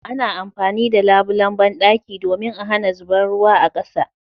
Ana amfani da labulan banɗaki domin a hana zuban ruwa a kasa